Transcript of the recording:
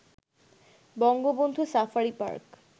Bangabandhu safari park